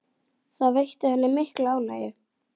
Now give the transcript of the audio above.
Það veitti henni mikla ánægju.